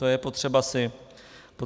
To je potřeba si říci.